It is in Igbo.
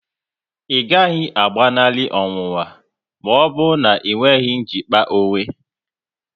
Ị gaghị agbanali ọnwụnwa maọbụ na enweghị njikpa onwe